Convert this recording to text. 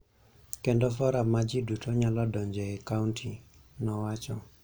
kendo forum ma ji duto nyalo donjoe e kaonti, nowacho.